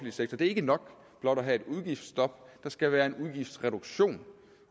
sektor det er ikke nok blot at have et udgiftsstop der skal være en udgiftsreduktion